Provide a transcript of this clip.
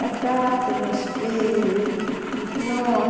Casar, ter meus filhos, no...